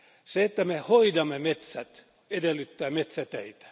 Se, että me hoidamme metsät, edellyttää metsäteitä.